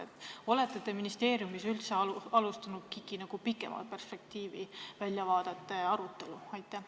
Kas te olete ministeeriumis üldse alustanud KIK-i pikema perspektiivi, väljavaadete arutelu?